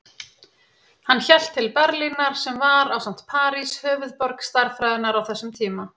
Hann hélt til Berlínar sem var, ásamt París, höfuðborg stærðfræðinnar á þessum tíma.